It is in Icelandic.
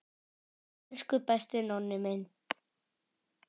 Elsku besti Nonni minn.